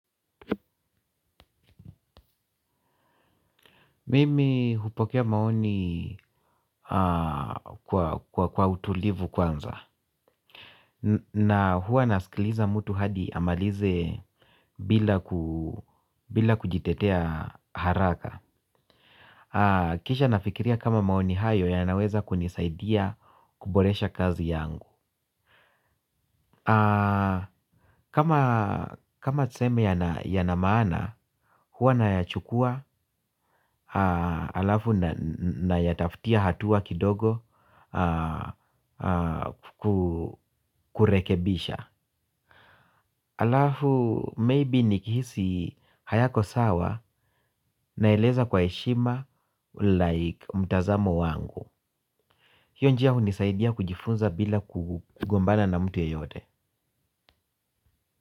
Mimi hupokea maoni kwa utulivu kwanza na hua nasikiliza mtu hadi amalize bila kujitetea haraka kisha nafikiria kama maoni hayo yanaweza kunisaidia kuboresha kazi yangu kama tuseme yana maana huwa nayachukua alafu nayataftia hatua kidogo kurekebisha alafu maybe ni kihisi hayako sawa na eleza kwa heshima like mtazamo wangu hiyo njia hunisaidia kujifunza bila kugombana na mtu yeyote.